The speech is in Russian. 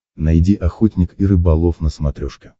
найди охотник и рыболов на смотрешке